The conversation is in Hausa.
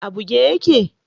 A buge yake?